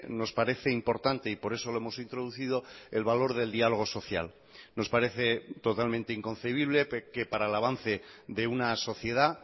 nos parece importante y por eso lo hemos introducido el valor del diálogo social nos parece totalmente inconcebible que para el avance de una sociedad